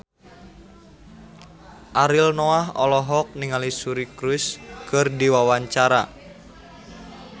Ariel Noah olohok ningali Suri Cruise keur diwawancara